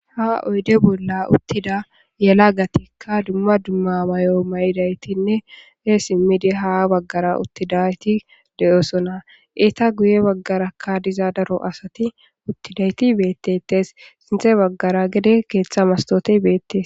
Ha oyde bolla uttida yela gatikka dumma dumma mayo mayidaytinne he simmidi ha baggara uttidayti de'osona iita guye baggarakka diza daro asati uttidayti beettetes sinthe baggara gede keeththa mastote beettes.